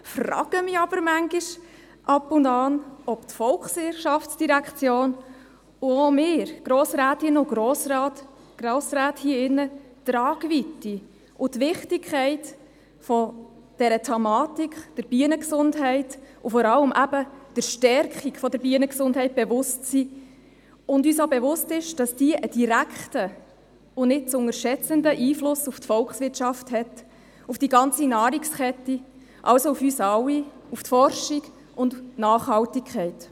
Ich frage mich aber ab und zu, ob die VOL und auch wir, Grossrätinnen und Grossräte hier im Saal, uns der Tragweite und der Wichtigkeit dieser Thematik, der Bienengesundheit und vor allem eben der Stärkung der Bienengesundheit bewusst sind und ob uns auch bewusst ist, dass diese einen direkten und nicht zu unterschätzenden Einfluss auf die Volkswirtschaft hat – auf die ganze Nahrungskette, also auf uns alle, auf die Forschung und die Nachhaltigkeit.